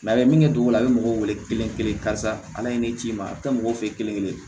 a bɛ min kɛ cogo di a bɛ mɔgɔw wele kelen-kelen karisa ala ye ne ci i ma a bɛ taa mɔgɔw fɛ yen kelen-kelen